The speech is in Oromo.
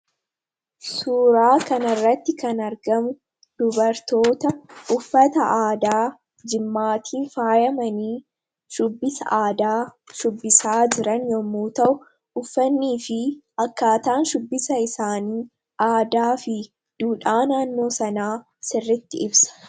Suuraa kana irratti kan argamuu dubartoota uffataa aadaa Jimaattin faayamanni shubbisaa aadaa shubbisaa jiraan yommuu ta'u, uffanifi akkataan shubbisaa isaani aadaafi duudhaa naannoo sana sirritti ibsa.